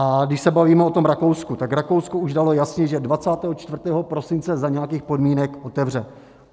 A když se bavíme o tom Rakousku, tak Rakousko už dalo jasně, že 24. prosince za nějakých podmínek otevře.